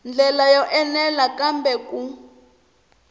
ndlela yo enela kambe ku